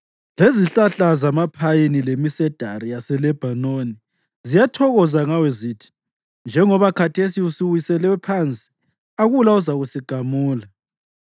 Lezihlahla zamaphayini lemisedari yaseLebhanoni ziyathokoza ngawe zithi, “Njengoba khathesi usuwiselwe phansi akula ozakuzasigamula.”